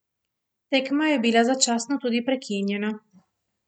Tekma je bila začasno tudi prekinjena.